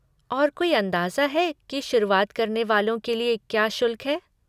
और कोई अंदाजा है कि शुरुआत करने वालों के लिए क्या शुल्क है?